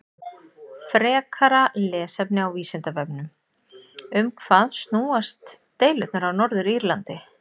Frekara lesefni á Vísindavefnum: Um hvað snúast deilurnar á Norður-Írlandi?